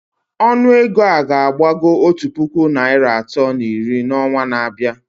Ọnụ ego a ga-agbago otu puku naịra atọ na iri n'ọnwa na-abịa